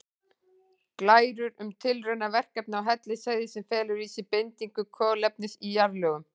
Glærur um tilraunaverkefni á Hellisheiði sem felur í sér bindingu kolefnis í jarðlögum.